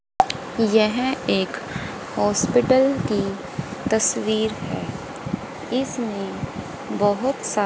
यह एक हॉस्पिटल की तस्वीर है इसमें बहुत सा--